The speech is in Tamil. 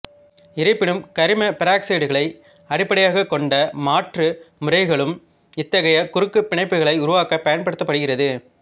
இருப்பினும் கரிம பெராக்சைடுகளை அடிப்படையாகக் கொண்ட மாற்று முறைகளும் இத்தகைய குறுக்குப் பிணைப்புகளை உருவாக்க பயன்படுத்தப்படுகிறது